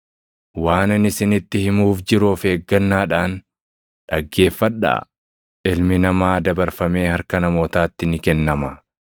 “Waan ani isinitti himuuf jiru of eeggannaadhaan dhaggeeffadhaa: Ilmi Namaa dabarfamee harka namootaatti ni kennama.”